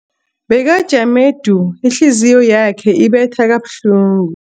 Bekajame du, ihliziyo yakhe ibetha kabuhlungu.